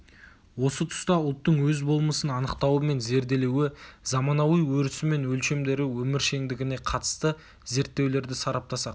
осы тұста ұлттың өз болмысын анықтауы мен зерделеуі заманауи өрісі мен өлшемдері өміршеңдігіне қатысты зерттеулерді сараптасақ